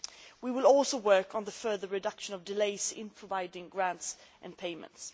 We will also work on further reducing delays in providing grants and payments.